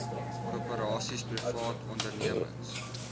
korporasies privaat ondernemings